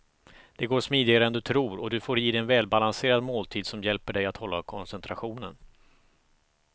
Det går smidigare än du tror och du får i dig en välbalanserad måltid som hjälper dig hålla koncentrationen.